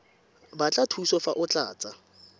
batla thuso fa o tlatsa